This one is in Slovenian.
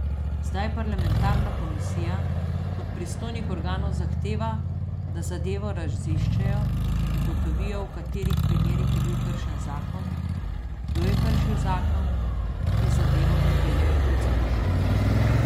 Zdaj parlamentarna komisija od pristojnih organov zahteva, da zadevo raziščejo, ugotovijo, v katerih primerih je bil kršen zakon, kdo je kršil zakon in zadevo pripeljejo pred sodišče.